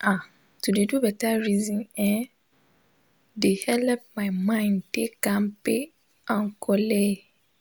ah to de do beta reson[um]de helep my mind de kampe and colleee